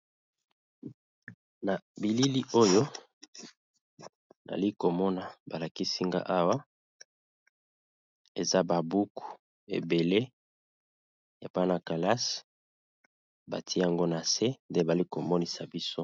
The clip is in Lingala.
Na bilili oyo ali komona balakisinga awa eza babuku ebele yapana kalase bati yango na se nde bali komonisa biso.